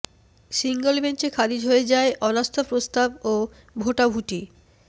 single বেঞ্চে খারিজ হয়ে যায় অনাস্থা প্রস্তাব ও ভোটাভুটি